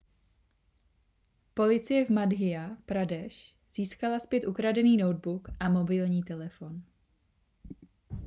policie v madhya pradesh získala zpět ukradený notebook a mobilní telefon